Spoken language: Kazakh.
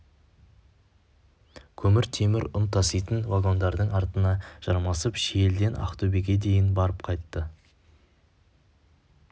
көмір темір ұн таситын вагондардың артына жармасып шиеліден ақтөбеге дейін барып қайтты